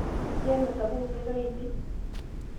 ijio emesapuki nkaik ainei?